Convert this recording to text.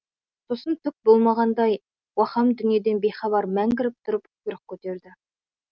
сосын түк болмағандай уаһам дүниеден бейхабар мәңгіріп тұрып құйрық көтерді